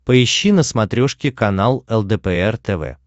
поищи на смотрешке канал лдпр тв